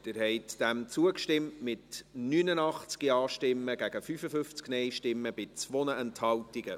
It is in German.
Sie haben zugestimmt, mit 89 Ja- gegen 55 Nein-Stimmen bei 2 Enthaltungen.